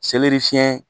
fiɲɛ